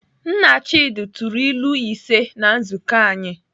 Nna Chidi tụrụ ilu ise na nzukọ anyị.